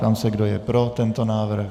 Ptám se, kdo je pro tento návrh.